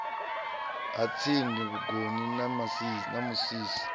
ha tsindi vhugoni na musisi